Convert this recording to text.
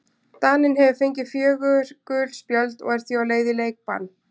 Daninn hefur fengið fjögur gul spjöld og er því á leið í leikbann.